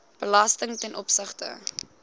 belasting ten opsigte